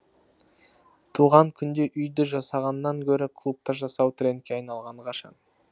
туған күнді үйде жасағаннан гөрі клубта жасау трендке айналғалы қашан